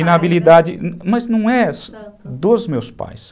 Inabilidade, mas não é dos meus pais.